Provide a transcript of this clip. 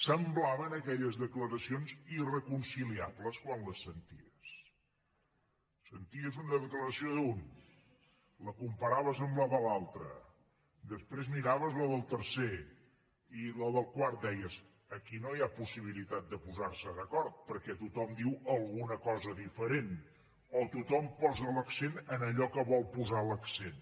semblaven aquelles declaracions irreconciliables quan les senties senties una declaració d’un la comparaves amb la de l’altre després miraves la del tercer i a la del quart deies aquí no hi ha possibilitat de posar se d’acord perquè tothom diu alguna cosa diferent o tothom posa l’accent en allò que vol posar l’accent